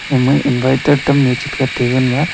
hemoi inviter tamni chigat tabal ma.